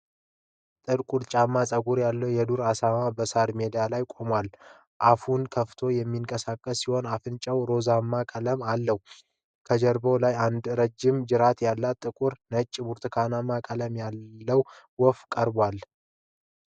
ጥልቁጫማ ጸጉር ያለው የዱር አሳማ በሳር ሜዳ ላይ ቆሟል። አፉን ከፍቶ የሚንቀሳቀስ ሲሆን፣ አፍንጫው ሮዝማ ቀለም አለው። ከጀርባው ላይ አንድ ረጅም ጅራት ያለው ጥቁር፣ ነጭና ብርቱካንማ ቀለም ያለው ወፍ አርፏል።